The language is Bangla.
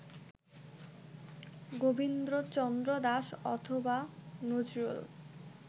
গোবিন্দচন্দ্র দাস অথবা নজরুল